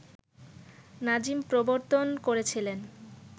নাজিম প্রবর্তন করেছিলেন